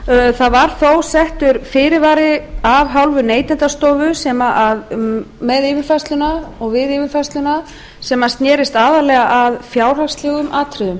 það var þó settur fyrirvari af hálfu neytendastofu með yfirfærsluna og við yfirfærsluna sem sneri aðallega að fjárhagslegum atriðum